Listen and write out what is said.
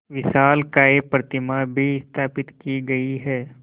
विशालकाय प्रतिमा भी स्थापित की गई है